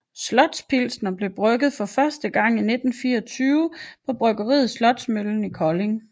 Slots Pilsner blev brygget første gang i 1924 på Bryggeriet Slotsmøllen i Kolding